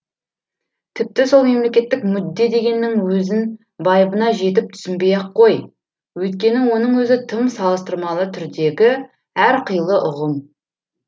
тіпті сол мемлекеттік мүдде дегеннің өзін байыбына жетіп түсінбей ақ қой өйткені оның өзі тым салыстырмалы түрдегі әрқилы ұғым